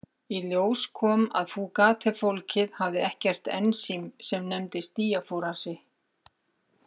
Í ljós kom að Fugate-fólkið hafði ekkert ensím sem nefnist díafórasi.